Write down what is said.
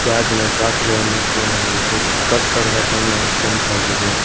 ಗಾಜಿನ ಗ್ಲಾಸ್ ಗಳನ್ನು ಕಾಣಬಹುದು ಕಟ್ಟಡದ ಬಣ್ಣ ಕೆಂಪಾಗಿದೆ.